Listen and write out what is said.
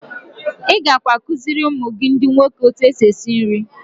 I gakwa akụziiri ụmụ gị ndị nwoke otu esi esi nri.